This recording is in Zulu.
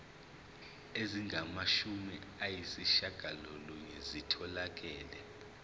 ezingamashumi ayishiyagalolunye zitholakele